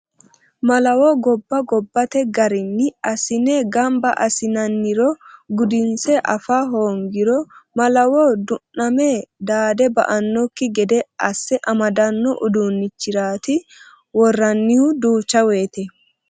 Malawo gobba gobbate garinni assine gamba assinanniro gudinse afano hoongiro malawo du'name dade ba'anokki gede asse amadano uduunchirati woranihu duucha woyte.